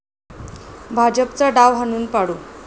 भाजपचा डाव हाणून पाडू